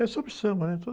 É sobre samba, né? Tudo...